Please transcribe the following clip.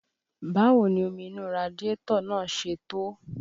Báwo ni omi inú radiátọ̀ náà ṣe tó?